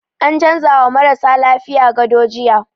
An canza wa marasa lafiyan gado jiya